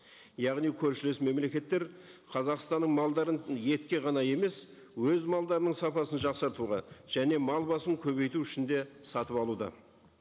яғни көршілес мемлекеттер қазақстанның малдарын етке ғана емес өз малдарының сапасын жақсартуға және мал басын көбейту үшін де сатып алуда